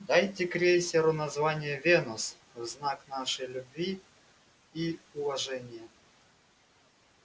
дайте крейсеру название венус в знак нашей любви и уважения